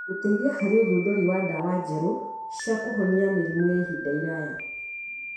Gũteithia harĩ ũthundũri wa ndawa njerũ cia kũhonia mĩrimũ yaa ihinda iraya.